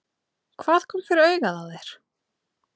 Hvað kom fyrir augað á þér?